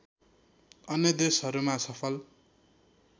अन्य देशहरूमा सफल